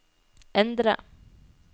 endre